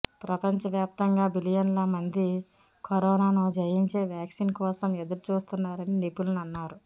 ప్రపంచవ్యాప్తంగా బిలియన్ల మంది కరోనాను జయించే వ్యాక్సిన్ కోసం ఎదురుచూస్తున్నారని నిపుణులు అన్నారు